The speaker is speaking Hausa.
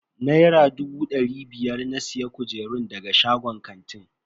Naira dubu dari biyar na siya kujerun daga shagon kantin.